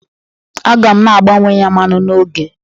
Aga m na-agbanwe ya mmanụ n'oge.